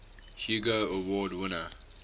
hugo award winner